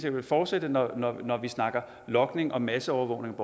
vil fortsætte når når vi snakker logning og masseovervågning